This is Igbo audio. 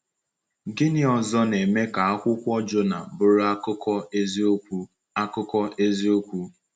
Gịnị ọzọ na-eme ka Akwụkwọ Jọnà bụrụ akụkọ eziokwu? akụkọ eziokwu?